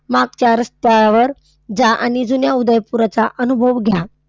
मागच्या रस्त्यावर जा आणि जुन्या उदयपुराचा अनुभव घ्या.